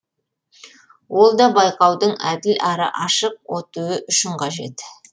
ол да байқаудың әділ әрі ашық өтуі үшін қажет